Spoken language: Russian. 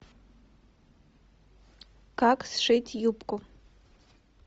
как сшить юбку